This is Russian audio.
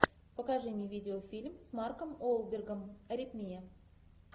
покажи мне видеофильм с марком уолбергом аритмия